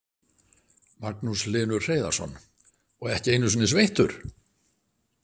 Magnús Hlynur Hreiðarsson: Og ekki einu sinni sveittur?